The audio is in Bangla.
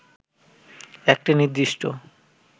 একটি নির্দিষ্ট